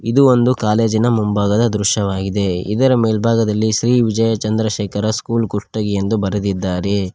ಇದು ಒಂದು ಕಾಲೇಜಿನ ಮುಂಭಾಗದ ದೃಶ್ಯವಾಗಿದೆ ಇದರ ಮೇಲ್ಭಾಗದಲ್ಲಿ ಶ್ರೀ ವಿಜಯಚಂದ್ರಶೇಖರ ಸ್ಕೂಲ್ ಕುಷ್ಟಗಿ ಎಂದು ಬರೆದಿದ್ದಾರೆ.